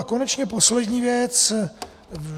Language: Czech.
A konečně poslední věc.